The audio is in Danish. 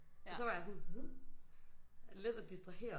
Og så var jeg sådan let at distrahere